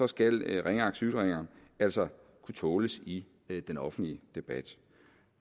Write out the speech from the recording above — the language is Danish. skal ringeagtsytringer altså kunne tåles i den offentlige debat